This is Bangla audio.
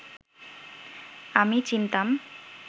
আমি চিনতাম